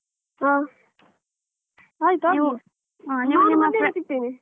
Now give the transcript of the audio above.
ಹ ಆಯ್ತಾ? ನಾನು ಮನೆಯಲ್ಲಿ ಸಿಗ್ತೇನೆ.